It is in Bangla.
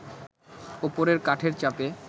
ওপরের কাঠের চাপে